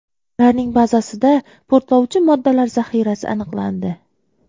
Ularning bazasida portlovchi moddalar zaxirasi aniqlandi.